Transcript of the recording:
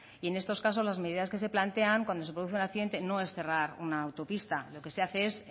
y en estos casos las medidas que se plantean cuando se produce un accidente no es cerrar una autopista lo que se hace es